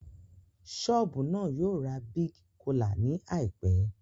Ṣọ́ọ̀bù náà yóò ra Big Cola ní àìpẹ́